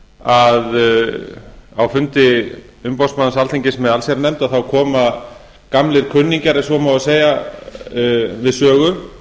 segja að á fundi umboðsmanns alþingis með allsherjarnefnd koma gamlir kunningjar ef svo má segja við sögu